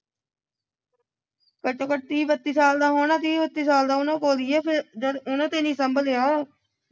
ਘੱਟ ਤੋਂ ਘੱਟ ਤੀਹ ਬੱਤੀ ਸਾਲ ਦਾ ਹੋਣਾ ਤੀਹ ਬੱਤੀ ਸਾਲ ਦਾ ਹੋਣਾ ਭੋਲੀਏ ਫਿਰ ਜਦ ਉਨ੍ਹਾਂ ਤੇ ਨਹੀਂ ਸਾਂਭਲਿਆ